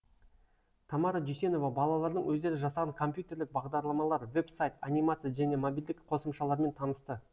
тамара дүйсенова балалардың өздері жасаған компьютерлік бағдарламалар веб сайт анимация және мобильдік қосымшалармен танысты